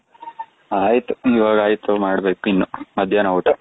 ಅಯ್ತು , ಇವಾಗ ಅಯ್ತು ಮಾಡಬೇಕು ಇನ್ನು ಮಧ್ಯನ ಊಟ ,